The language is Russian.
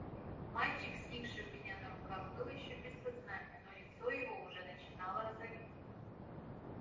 мальчик сникший у меня на руках был ещё без сознания но лицо его уже начинало розоветь